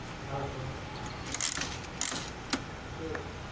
હા હા શું હતું